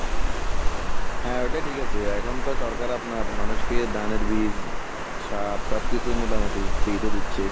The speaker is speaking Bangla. হ্যাঁ ওটা ঠিক আছে এখন তো সরকার আপনার মানুষকে ধানের বিষ সার সব কিছু মোটামুটি free তে দিচ্ছে।